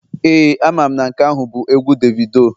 Ee, amam na nke ahu bu egwu Davido